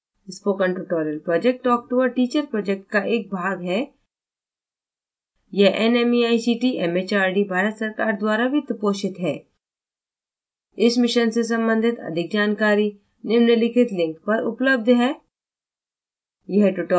spoken tutorial project talk to a teacher project का एक भाग है यह nmeict mhrd भारत सरकार द्वारा वित्तपोषित है इस मिशन से संबंधित अधिक जानकारी निम्नलिखित link पर उपलब्ध है